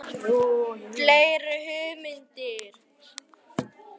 Fleiri hugmyndir?